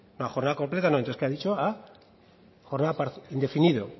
la jornada completa no entonces qué ha dicho indefinido